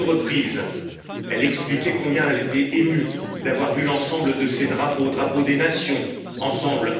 À deux reprises, elle a expliqué combien elle était émue d'avoir vu l'ensemble de ces drapeaux, drapeaux des nations, ensemble.